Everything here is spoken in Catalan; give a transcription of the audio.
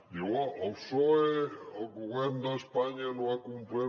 diu oh el psoe el govern d’espanya no ha complert